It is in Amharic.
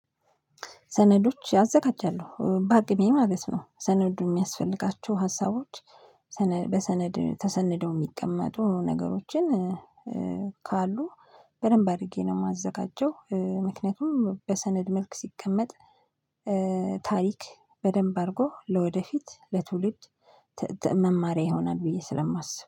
ሰነዶች አዘጋጃለሁ በአቅሜ ማለት ነው ሰነዱ እሚያስፈልጋቸው ሀሳቦች በሰነድ ተሰነደው እሚቀመጡ ነገሮችን ካሉ በደንብ አድርጌ ነው። እማዘጋጀው ምክንያቱም በሰነድ መልክ ሲቀመጥ ታሪክ በደንብ አድርጎ ለወደፊት ለትውልድ መማሪያ ይሆናል። ብዬ ስለማስብ